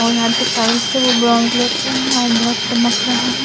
और यहा जो टेल्स है वो ब्राउन कलर का है और बोहोत चमक रहा है ।